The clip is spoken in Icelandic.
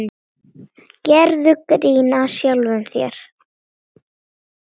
Gerðu grín að sjálfum þér.